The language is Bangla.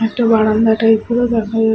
একটা বারান্দা টাইপের ও দেখা যাচ্ছে--